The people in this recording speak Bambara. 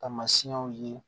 Taamasiyɛnw ye